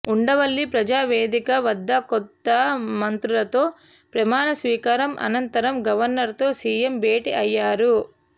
ఉండవల్లి ప్రజావేదిక వద్ద కొత్త మంత్రులతో ప్రమాణ స్వీకారం అనంతరం గవర్నర్తో సీఎం భేటీ అయ్యారు